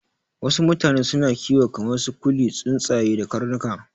Wasu mutane suna kiwo kamar su kuliya, tsuntsaye da karnuka